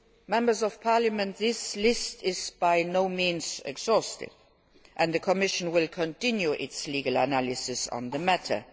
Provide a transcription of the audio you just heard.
Members of Parliament, this list is by no means exhaustive, and the Commission will continue its legal analysis on the matter.